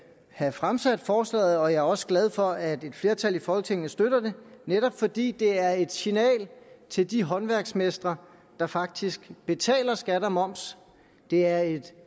have fremsat forslaget og jeg er også glad for at et flertal i folketinget støtter det netop fordi det er et signal til de håndværksmestre der faktisk betaler skat og moms det er et